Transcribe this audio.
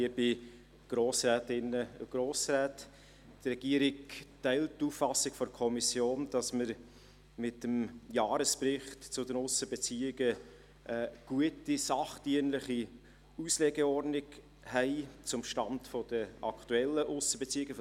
Die Regierung teilt die Auffassung der Kommission, wonach wir mit dem Jahresbericht zu den Aussenbeziehungen eine gute, sachdienliche Auslegeordnung zum Stand zu den aktuellen Aussenbeziehungen haben: